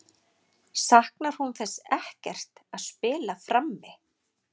Saknar hún þess ekkert að spila frammi?